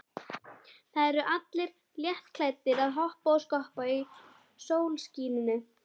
Það eru allir léttklæddir að hoppa og skoppa í sólskininu.